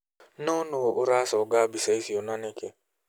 No nuu uraconga mbica icio na niki?